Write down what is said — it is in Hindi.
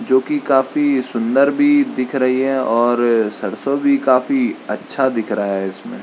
जो की काफी सुन्दर भी दिख रही है और सरसों भी काफी अच्छा दिख रहा है इसमें।